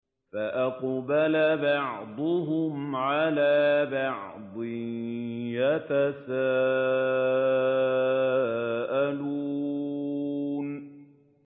فَأَقْبَلَ بَعْضُهُمْ عَلَىٰ بَعْضٍ يَتَسَاءَلُونَ